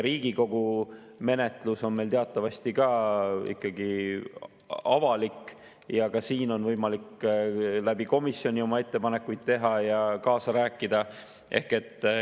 Riigikogu menetlus on meil teatavasti avalik ja ka siin on võimalik komisjoni kaudu oma ettepanekuid teha ja kaasa rääkida.